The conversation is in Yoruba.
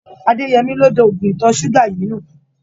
Adéyẹmí ló da oògùn ìtọ̀ ṣúgà yìí nù.